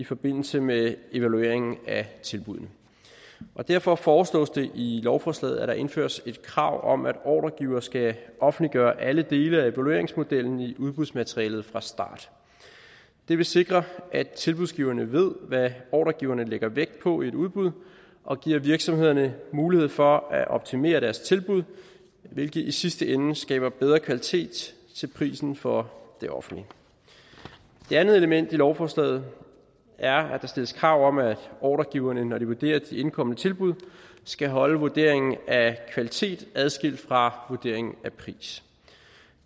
i forbindelse med evalueringen af tilbuddene derfor foreslås det i lovforslaget at der indføres et krav om at ordregivere skal offentliggøre alle dele af evalueringsmodellen i udbudsmaterialet fra start det vil sikre at tilbudsgiverne ved hvad ordregiverne lægger vægt på i et udbud og det giver virksomhederne mulighed for at optimere deres tilbud hvilket i sidste ende skaber bedre kvalitet til prisen for det offentlige det andet element i lovforslaget er at der stilles krav om at ordregiverne når de vurderer de indkomne tilbud skal holde vurderingen af kvalitet adskilt fra vurderingen af pris